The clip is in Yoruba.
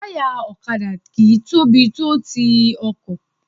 Táyà ọ̀kadà kì í tóbi tó ti ọkọ̀